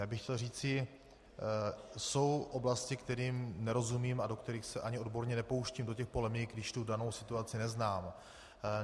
Já bych chtěl říci - jsou oblasti, kterým nerozumím a do kterých se ani odborně nepouštím, do těch polemik, když tu danou situaci neznám.